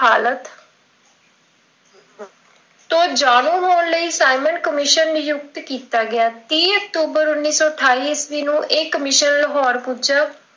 ਤੋਂ ਜਾਣੂ ਹੋਣ ਲਈ ਸਾਈਂਮਨ ਕਮਿਸ਼ਨ ਨਿਯੁਕਤ ਕੀਤਾ ਗਿਆ ਤੀਹ ਅਕਤੂਬਰ ਉੱਨੀ ਸੌ ਅਠਾਈ ਈਸਵੀਂ ਨੂੰ ਲਾਹੌਰ ਪੁੱਜਾ।